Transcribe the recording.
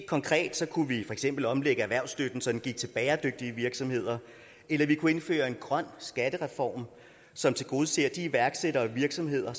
konkret kunne vi for eksempel omlægge erhvervsstøtten så den gik til bæredygtige virksomheder eller vi kunne indføre en grøn skattereform som tilgodeser de iværksættere og virksomheder